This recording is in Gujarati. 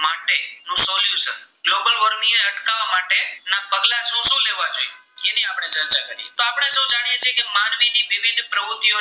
ની જે પ્રવુતિઓ